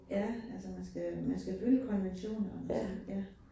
Ja altså man skal man skal følge konventionerne og sådan noget ja